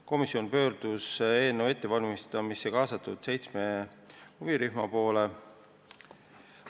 Komisjon pöördus eelnõu ettevalmistamisse kaasatud seitsme huvirühma poole.